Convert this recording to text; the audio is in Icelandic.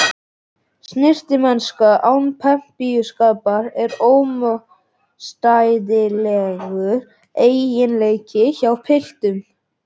Snyrtimennska án pempíuskapar er ómótstæðilegur eiginleiki hjá piltum.